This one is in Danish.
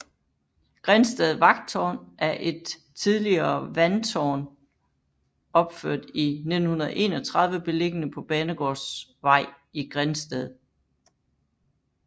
Grindsted Vandtårn er et tidligere vandtårn opført i 1931 beliggende på Banegårdsvej i Grindsted